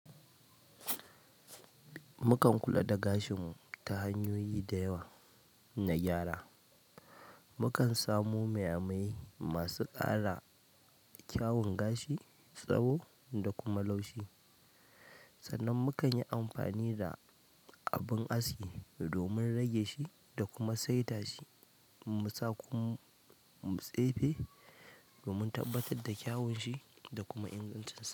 Mukan kula da gashin mu ta hanyoyi da yawa na gyara. Mukan samu maimayi masu ƙara kyawun gashi, tsawo da kuma laushi. Sannan mu kan yi amfani da abin aski domin rage shi da kuma saita shi. Musa kum mu tsefe domin tabbatar da kyawun shi da kuma ingancin sa.